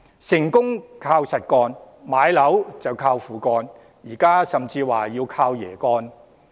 成功靠實幹，買樓則"靠父幹"，現在甚至說要"靠爺幹"。